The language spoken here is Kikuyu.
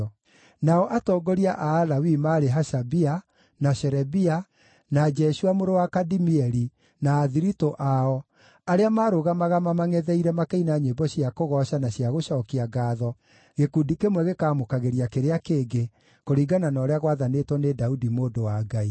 Nao atongoria a Alawii maarĩ Hashabia, na Sherebia, na Jeshua mũrũ wa Kadimieli, na athiritũ ao, arĩa maarũgamaga mamangʼetheire makĩina nyĩmbo cia kũgooca na cia gũcookia ngaatho, gĩkundi kĩmwe gĩkaamũkagĩria kĩrĩa kĩngĩ, kũringana na ũrĩa gwathanĩtwo nĩ Daudi mũndũ wa Ngai.